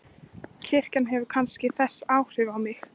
Kirkjan hefur kannski þessi áhrif á mig.